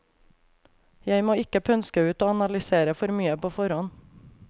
Jeg må ikke pønske ut og analysere for mye på forhånd.